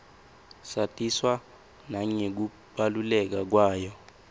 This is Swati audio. satiswa nangekubaluleka kwayo